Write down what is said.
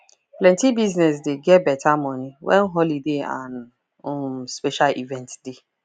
plenty business dey get better money when holiday and um special event dey